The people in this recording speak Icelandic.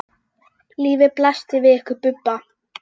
Lífið blasti við ykkur Bubba.